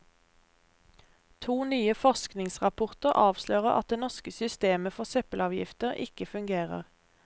To nye forskningsrapporter avslører at det norske systemet for søppelavgifter ikke fungerer.